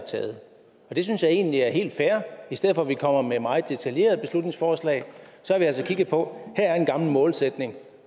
har vedtaget det synes jeg egentlig er helt fair i stedet for at vi kommer med meget detaljerede beslutningsforslag har vi altså kigget på her er en gammel målsætning